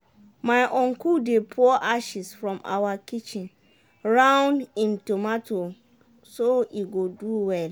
my uncle dey pour ashes from awa kitchen round him tomato so e go do well.